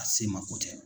A se mako tɛ